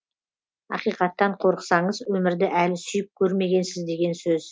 ақиқаттан қорықсаңыз өмірді әлі сүйіп көрмегенсіз деген сөз